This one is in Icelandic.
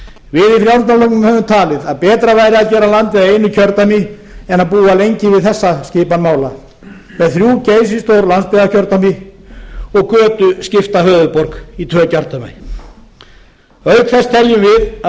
við í frjálsl höfum talið að betra væri að gera landið að einu kjördæmi en að búa lengi við þessa skipan mála með þrjú geysistór landsbyggðarkjördæmi og götuskipta höfuðborg í tvö kjördæmi auk þess teljum við